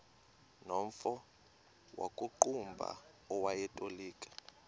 nomfo wakuqumbu owayetolika